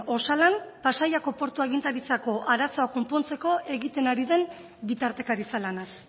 osalan pasaiako portu agintaritzako arazoa konpontzeko egiten ari den bitartekaritza lanaz